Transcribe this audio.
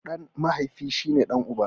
Ɗan mahaifi na shi ne ɗan uba na.